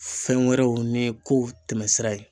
Fɛn wɛrɛw ni kow tɛmɛsira ye.